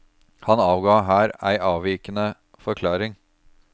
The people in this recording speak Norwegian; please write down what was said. Han avga her ei avvikende forklaring.